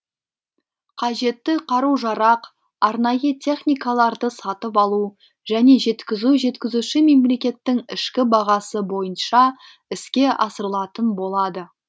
қажетті қару жарақ арнайы техникаларды сатып алу және жеткізу жеткізуші мемлекеттің ішкі бағасы бойынша іске асырылатын болады